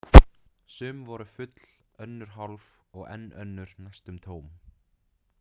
Sum voru full, önnur hálf og enn önnur næstum tóm.